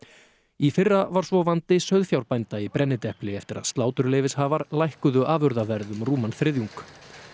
í fyrra var svo vandi sauðfjárbænda í brennidepli eftir að sláturleyfishafar lækkuðu afurðaverð um rúman þriðjung